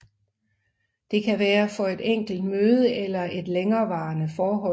Det kan være for et enkelt møde eller i et længerevarende forhold